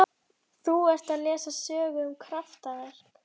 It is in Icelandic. Þú ert að lesa sögu um kraftaverk.